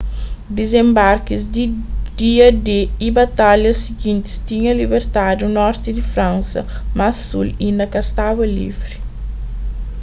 dizenbarkis di dia-d y batalhas sigintis tinha libertadu norti di fransa mas sul inda ka staba livri